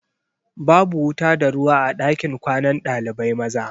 Babu wuta da ruwa a ɗakin kwanan ɗalibai maza.